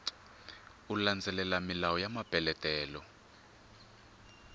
u landzelela milawu ya mapeletelo